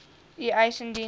u eis indien